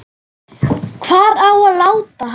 Hvar á að láta hann?